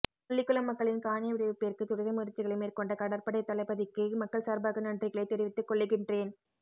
முள்ளிக்குளம் மக்களின் காணி விடுவிப்பிற்கு துரித முயற்சிகளை மேற்கொண்ட கடற்படை தளபதிக்கு மக்கள் சார்பாக நன்றிகளை தெரிவித்துக்கொள்ளுகின்றேன்